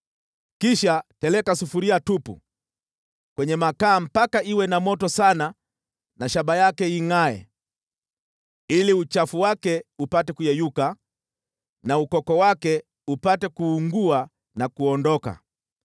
Kisha teleka sufuria tupu kwenye makaa mpaka iwe na moto sana na shaba yake ingʼae, ili uchafu wake upate kuyeyuka na ukoko wake upate kuungua na kuondoka.